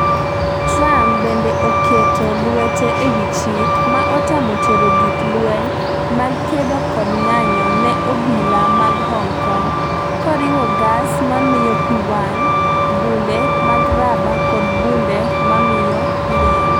Trump bende oketo lwete ewi chik, ma otamo tero gik lweny mag kedo kod ng'anjo ne obila mag Hong Kong - koriwo gas mamiyo pi wang', bunde mag raba kod bunde mamiyo liel.